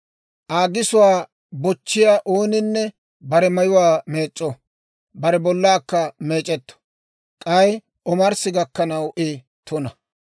Aa gisuwaa bochchiyaa ooninne bare mayuwaa meec'c'o; bare bollaakka meec'etto; k'ay omarssi gakkanaw I tuna.